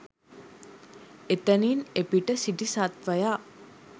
එතනින් එපිට සිටි සත්වයා